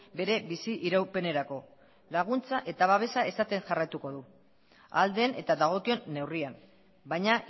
bere bizi iraupenerako laguntza eta babesa esaten jarraituko du ahal den eta dagokion neurrian baina